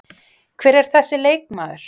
Hver er þessi leikmaður?